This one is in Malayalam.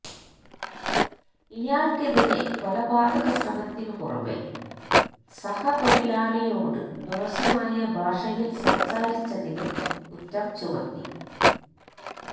ഇയാള്ക്കെതിരെ കൊലപാതക ശ്രമത്തിന് പുറമെ സഹതൊഴിലാളിയോട് മോശമായ ഭാഷയില് സംസാരിച്ചതിനും കുറ്റം ചുമത്തി